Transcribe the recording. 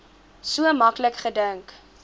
so maklik gedink